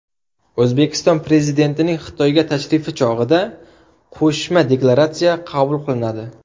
O‘zbekiston Prezidentining Xitoyga tashrifi chog‘ida Qo‘shma deklaratsiya qabul qilinadi.